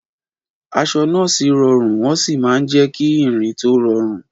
Aṣọ nọ́ọ̀sì rọrùn wọ́n sì máa ń jẹ́ kí ìrìn tó rọrùn.